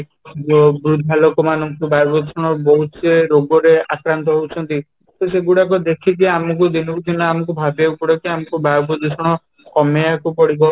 ଯୋଉ ବୃଦ୍ଧା ଲୋକ ମାନଙ୍କୁ ବାୟୂପ୍ରଦୂଷଣ ବହୁତ ସେ ରୋଗ ରେ ଆକ୍ରାନ୍ତ ହଉଛନ୍ତି ତ ସେଇଗୁଡ଼ାକ ଦେଖିକି ଆମକୁ ଦିନ କୁ ଦିନ ଆମକୁ ଭାବିବାକୁ ପଡିବ କି ଆମକୁ ବାୟୁ ପ୍ରଦୂଷଣ କମେଇବାକୁ ପଡିବ